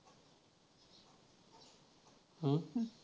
अं